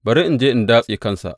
Bari in je in datse kansa.